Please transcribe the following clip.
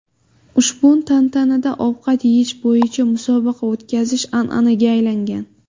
Ushbu tantanada ovqat yeyish bo‘yicha musobaqa o‘tkazish an’anaga aylangan.